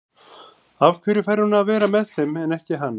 Af hverju fær hún að vera með þeim en ekki hann?